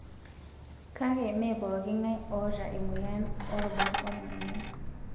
Kake mee pookin ngae oota emoyian oo rubat oning' emion.